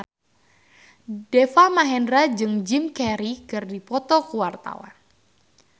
Deva Mahendra jeung Jim Carey keur dipoto ku wartawan